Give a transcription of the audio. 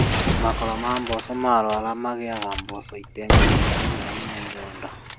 Makoro ma mboco marwara magĩaga mboco itarĩnginyanĩru na ina ironda